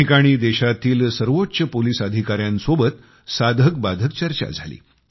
त्या ठिकाणी देशातील सर्वोच्च पोलीस अधिकाऱ्यांसोबत साधकबाधक चर्चा झाली